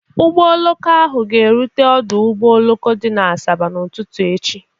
Ụgbọ oloko ahụ ga-erute ọdụ ụgbọ oloko dị na Asaba n'ụtụtụ echi